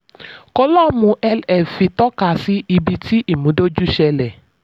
kólọ́ọ̀mù lf fi tọ́kasí ibi tí ìmúdójú ṣẹlẹ̀.